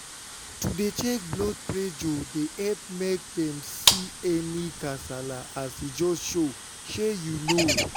to dey check blood pressure dey epp make dem see any kasala as e just show shey u know?